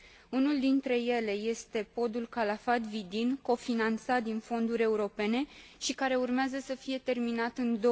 Unul dintre ele este podul Calafat Vidin, cofinanțat din fonduri europene, și care urmează să fie terminat în